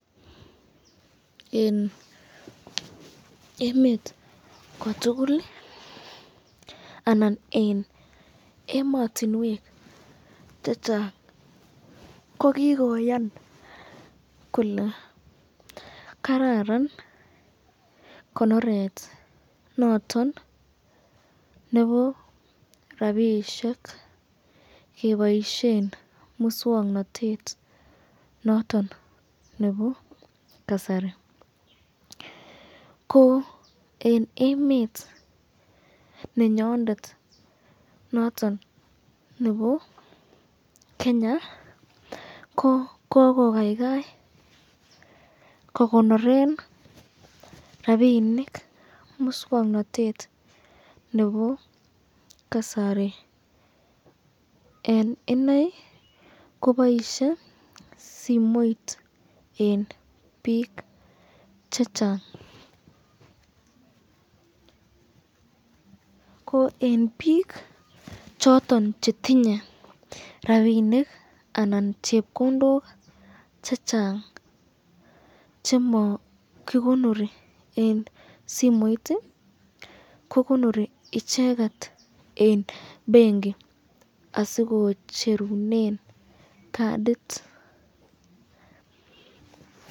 Eng emet kotukul anan eng ematinwek chechang ko kikoyan kole kararan konoret noton nebo rapishek keboisyen muswoknotet noton nebo kasari, ko eng emet nenyondet noton nebo Kenya ko kokokaikai kikonoren rapinik muswoknotet nebo kasari eng inei kobaisye simoit eng bik chechang, ko eng bik choton chetinye rapinik anan chepkondok chechang chema kikonoren eng simoit icheket eng benki asikocherunen cardit .